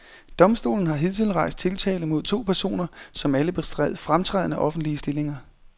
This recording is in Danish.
Domstolen har hidtil rejst tiltale mod to personer, som alle bestred fremtrædende, offentlige stillinger.